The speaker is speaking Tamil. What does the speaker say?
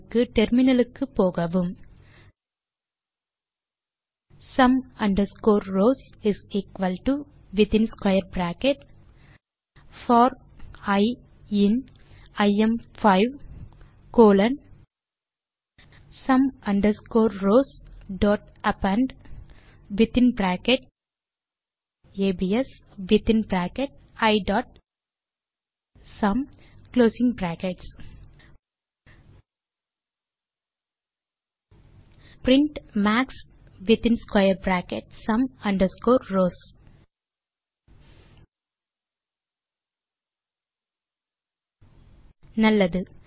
தீர்வுக்கு டெர்மினலுக்கு போகவும் sum underscore rows within square bracket for i in ஐஎம்5 கோலோன் சும் அண்டர்ஸ்கோர் rowsஅப்பெண்ட் within bracket ABS within bracket isum print max within square bracket sum underscore rows நல்லது